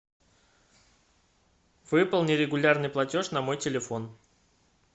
выполни регулярный платеж на мой телефон